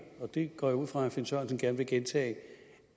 og det går jeg ud fra at herre finn sørensen gerne vil gentage